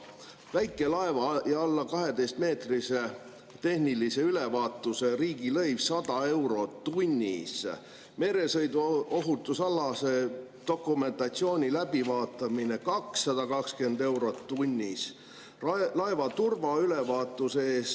Väikelaeva või alla 12‑meetrise tehnilise ülevaatuse riigilõiv on 100 eurot tunnis, meresõiduohutusalase dokumentatsiooni läbivaatamise eest 220 eurot tunnis, laeva turvaülevaatuse eest …